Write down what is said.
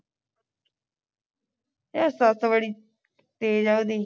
ਉਹ ਸੱਸ ਬੜੀ ਤੇਜ਼ ਹੈ ਉਹਦੀ